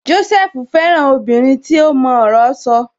Jósẹ́fù fẹ́ràn obìnrin tí ó mọ ọ̀rọ̀ sọ